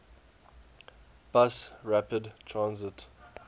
bus rapid transit